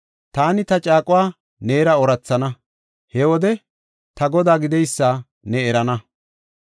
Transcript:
Taani ta caaquwa neera oorathana; he wode ta Godaa gideysa ne erana.